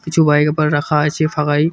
কিছু বাইক আবার রাখা আছে ফাঁকায়।